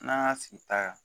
N'an y'a sigi ta kan